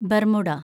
Bermuda